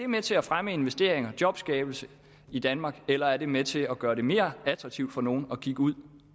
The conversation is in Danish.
med til at fremme investering og jobskabelse i danmark eller er det med til at gøre det mere attraktivt for nogle at kigge ud